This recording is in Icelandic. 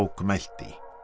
mælti